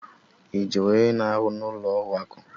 Ị jụrụ onye na-arụ n'ụlọ akụ?